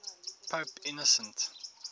pope innocent